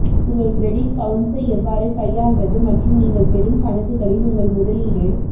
உங்கள் கிரெடிட் கவுன்ஸை எவ்வாறு கையாள்வது மற்றும் நீங்கள் பெறும் கணக்குகளில் உங்கள் முதலீடு